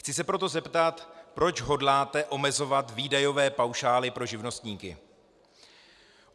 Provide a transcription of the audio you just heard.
Chci se proto zeptat, proč hodláte omezovat výdajové paušály pro živnostníky.